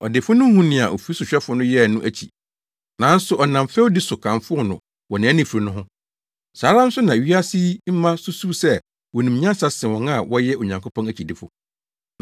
“Ɔdefo no huu nea ofi sohwɛfo no yɛe no akyi, nanso ɔnam fɛwdi so kamfoo no wɔ nʼanifiri no ho. Saa ara nso na wiase yi mma susuw sɛ wonim nyansa sen wɔn a wɔyɛ Onyankopɔn akyidifo no.